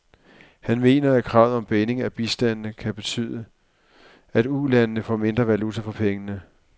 Han mener, at kravet om binding af bistanden kan betyde, at ulandene får mindre valuta for pengene.